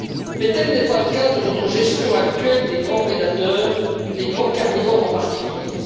Mais tel n'est pas le cas de notre gestion actuelle des grands prédateurs, les grands carnivores, en particulier.